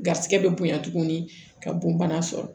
Garisigɛ bɛ bonya tuguni ka bon bana sɔrɔ